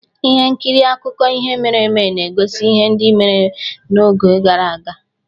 Ihe nkiri akụkọ ihe mere eme na-egosi ihe ndị mere n'oge gara aga